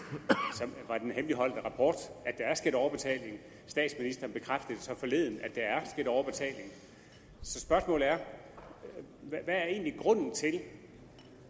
af sundhedsministeriets hemmeligholdte rapport statsministeren bekræftede så forleden at der er sket overbetaling så spørgsmålet er hvad er egentlig grunden til